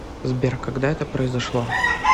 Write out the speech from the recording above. сбер когда это произошло